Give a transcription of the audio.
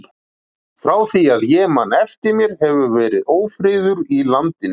Frá því að ég man eftir mér hefur verið ófriður í landinu.